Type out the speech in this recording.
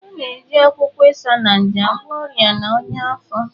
A na-eji akwụkwọ Isaneja agwọ ọrịa na ọnyá afọ.